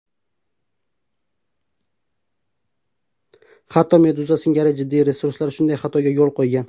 Hatto Meduza singari jiddiy resurslar shunday xatoga yo‘l qo‘ygan.